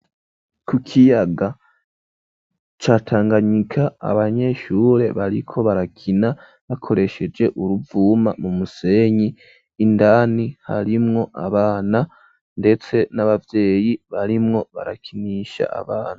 Ku kiyaga ca Tanganyika abanyeshure bariko barakina bakoresheje uruvuma mu musenyi ,indani harimwo abana ndetse n'abayeyi barimwo barakinisha abana.